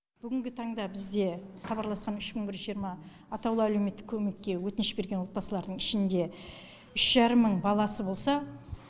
бүгінгі таңда бізде хабарласқан үш мың бір жүз жиырма атаулы әлеуметтік көмекке өтініш берген отбасылардың ішінде үш жарым мың баласы болса